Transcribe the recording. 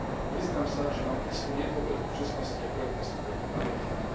Priznám sa, že mám istú nedôveru k čestnosti a korektnosti tohto nariadenia.